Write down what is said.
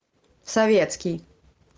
советский